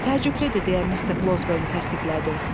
Təəccüblüdür, deyə Mister Blözbern təsdiqlədi.